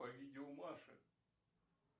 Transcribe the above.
по видео маши